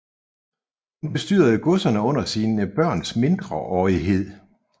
Hun bestyrede godserne under sine børns mindreårighed